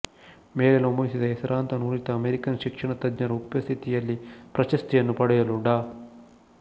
ಮೇಲೆ ನಮೂದಿಸಿದ ಹೆಸರಾಂತ ನುರಿತ ಅಮೆರಿಕನ್ ಶಿಕ್ಷಣ ತಜ್ಞರ ಉಪಸ್ಥಿತಿಯಲ್ಲಿ ಪ್ರಶಸ್ತಿಯನ್ನು ಪಡೆಯಲು ಡಾ